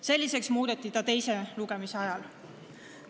Selliseks muudeti ta teise lugemise ajal.